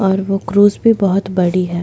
और वो क्रूज़ भी बहुत बड़ी है।